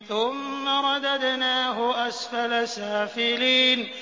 ثُمَّ رَدَدْنَاهُ أَسْفَلَ سَافِلِينَ